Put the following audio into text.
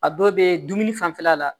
A dɔw bɛ dumuni fanfɛla la